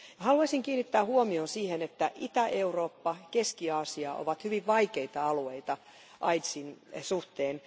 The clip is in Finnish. Haluaisin kiinnittää huomion siihen, että Itä Eurooppa ja Keski Aasia ovat hyvin vaikeita alueita aidsin suhteen.